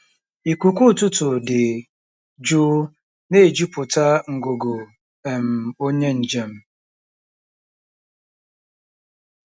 Ikuku ụtụtụ dị jụụ na-ejupụta ngụgụ um onye njem.